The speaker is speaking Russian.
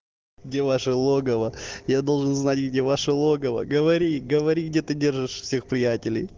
где ваше логово я должен знать где ваше логово говори говори где ты держишь всех приятелей